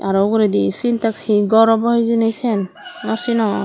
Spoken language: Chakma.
araw uguredi sintex hi gor obo hijeni sien naw sinong.